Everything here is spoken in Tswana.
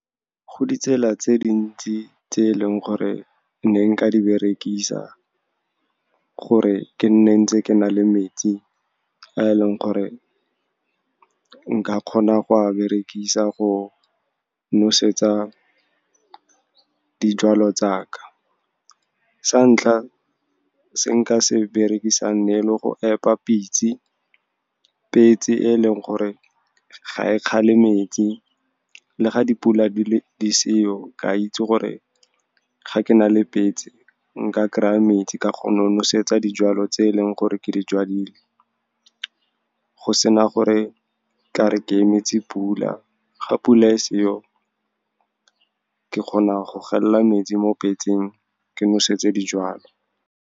Go ditsela tse dintsi tse e leng gore ne nka di berekisa gore ke nne ntse ke na le metsi a e leng gore nka kgona go a berekisa go nosetsa dijwalo tsaka. Sa ntlha, se nka se berekisang ne ele go epa petse, e leng gore ga e kgale metsi le ga dipula di seo. Ke a itse gore ga ke na le petse, nka kry-a metsi ka kgona go nosetsa dijwalo tse e leng gore ke di jwadile, go sena gore ka re ke emetse pula. Ga pula e seo, ke kgona go gella metsi mo petseng, ke nosetsa dijwalo.